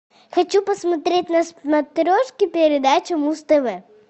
хочу посмотреть на смотрешке передачу муз тв